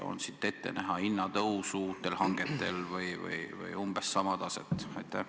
On meil ette näha uute hangete korral hinnatõusu või umbes sama taset?